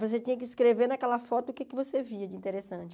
Você tinha que escrever naquela foto o que você via de interessante.